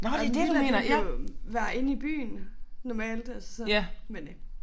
Og en villa det på være inde i byen normalt altså men øh